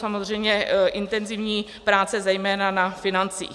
Samozřejmě intenzivní práce zejména na financích.